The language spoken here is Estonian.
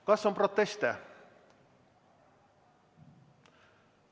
Kas on proteste?